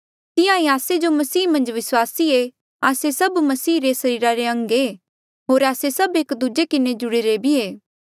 तिहां ईं आस्से जो मसीह मन्झ विस्वासी ऐें आस्से सब मसीह रे सरीरा रे अंग ऐें होर आस्से सभ एक दूजे किन्हें जुड़ीरे भी ऐें